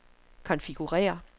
konfigurér